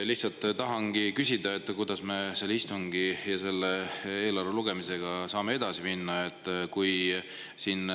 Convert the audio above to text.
Lihtsalt tahan küsida, kuidas me selle istungi ja selle eelarve lugemisega saame edasi minna.